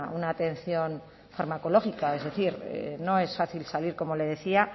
una atención farmacológica es decir no es fácil salir como le decía